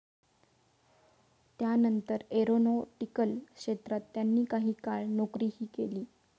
त्यानंतर एरॉनॉटिकल क्षेत्रात त्यांनी काही काळ नोकरीही केली.